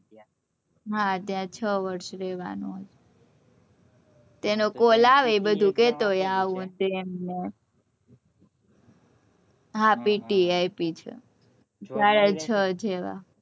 હા ત્યાં છ વર્ષ રેહવાનું એનો call આવે એ બધું કેતો હોય આવું તેમ ને હા PTE આપી છે સાડા છ જેવા